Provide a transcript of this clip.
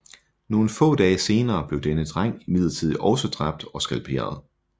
Nogle få dage senere blev denne dreng imidlertid også dræbt og skalperet